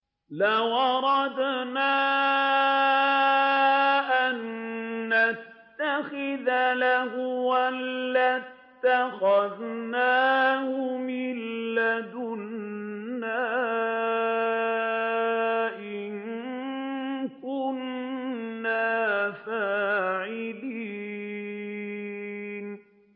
لَوْ أَرَدْنَا أَن نَّتَّخِذَ لَهْوًا لَّاتَّخَذْنَاهُ مِن لَّدُنَّا إِن كُنَّا فَاعِلِينَ